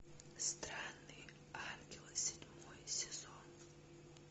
странные ангелы седьмой сезон